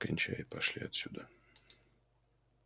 кончай и пошли отсюда